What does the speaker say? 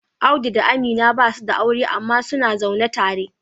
Audu da Amina basu da aure amma suna zaune tare